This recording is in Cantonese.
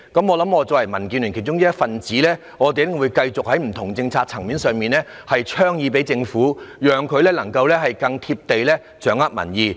我作為民建聯的一分子，會繼續在不同政策層面上提出建議，讓政府能夠更"貼地"掌握民意。